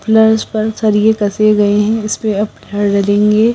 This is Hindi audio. प्लस पर सरिए कसे गए हैं इस पे अब लगेंगे --